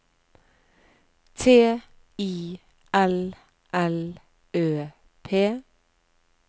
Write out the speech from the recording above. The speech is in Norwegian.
T I L L Ø P